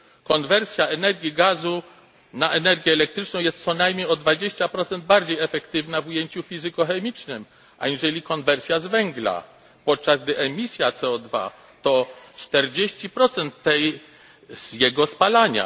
Konwersja energii gazu na energię elektryczną jest co najmniej o 20 bardziej efektywna w ujęciu fizykochemicznym aniżeli konwersja z węgla, podczas gdy emisja CO2 to 40 tej z jego spalania.